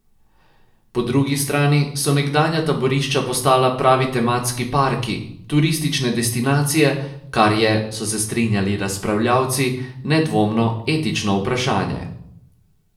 Po drugi strani so nekdanja taborišča postala pravi tematski parki, turistične destinacije, kar je, so se strinjali razpravljavci, nedvomno etično vprašanje.